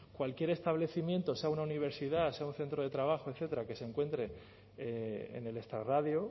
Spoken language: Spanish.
cualquier establecimiento sea una universidad sea un centro de trabajo etcétera que se encuentre en el extrarradio